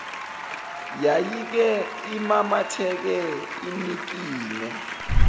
yayike imamatheke inikine